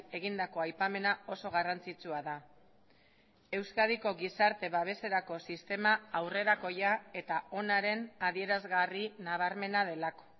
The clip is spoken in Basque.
egindako aipamena oso garrantzitsua da euskadiko gizarte babeserako sistema aurrerakoia eta onaren adierazgarri nabarmena delako